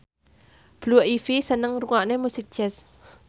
Blue Ivy seneng ngrungokne musik jazz